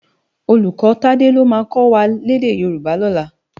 Ólúkò Tade ló má kò wá lèdè Yoruba lòlá